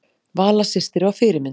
Vala systir var fyrirmynd.